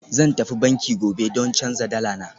Zan tafi banki gobe don canza dala na